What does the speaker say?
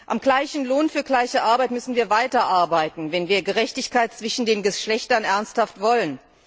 Am gleichen Lohn für gleiche Arbeit müssen wir weiterarbeiten, wenn wir Gerechtigkeit zwischen den Geschlechtern ernsthaft wollen.